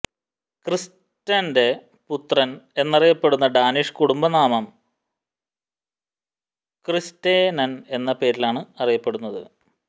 ക്രിസ്റ്റന്റെ പുത്രൻ എന്നറിയപ്പെടുന്ന ഡാനിഷ് കുടുംബനാമം ക്രിസ്റ്റേനൻ എന്ന പേരിലാണ് അറിയപ്പെടുന്നത്